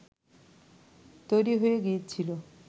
তৈরি হয়ে গিয়েছিল